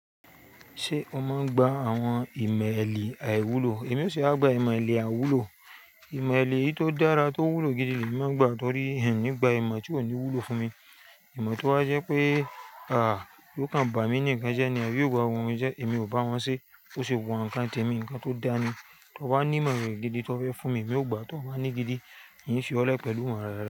Ṣé o máa ń gba àwọn ìmọ̀-ẹ̀lì àìwúlò? Èmi ò ṣe wà gbà ìmọ̀-ẹ̀lì àiwúlò? Ìmọ̀-ẹ̀lì eyi tó dára, tó wúlò gidi ni èmi máa ń gba, ni torí n ní gba ìmọ̀ tí ò ní wúlò fún mi. Ìmọ̀ tó wa jẹ́ pé, àh, yóò kàn bá mi ní nnkan jẹ́ ní, abi yóò bà ohun mi jẹ́, èmi ò bá wọn ṣe. Bo ṣe wun awon nǹkan tẹ̀ mí, nǹkan tó dáni. Tó bá ní ìmọ̀ran gidi tó fẹ́ fún mi, èmi ó gbà á. Tó o bá ní gidi, n fi ọ lé pẹ̀lú imoran re.